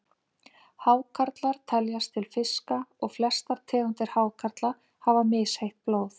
Hákarlar teljast til fiska og flestar tegundir hákarla hafa misheitt blóð.